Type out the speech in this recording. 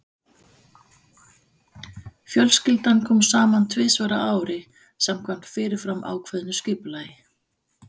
Fjölskyldan kom saman tvisvar á ári samkvæmt fyrirfram ákveðnu skipulagi.